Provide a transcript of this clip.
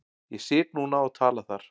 Ég sit núna og tala þar.